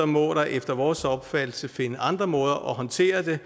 må der efter vores opfattelse findes andre måder at håndtere det